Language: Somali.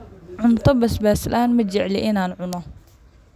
Cunto basbas laan majecli inan cuno.